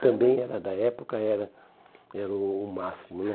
Também era da época, era era o o máximo, né?